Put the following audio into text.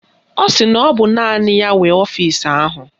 Ọ sị na ọ bụ nna ya nwe ọfisi ahụ